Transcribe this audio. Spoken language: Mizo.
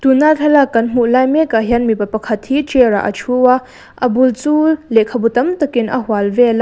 tun a thlalak kan hmuh lai mek ah hian mipa pakhat hi chair ah a thu a a bul chu lehkhabu tam tak in a hual vel a.